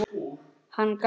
Hann gaf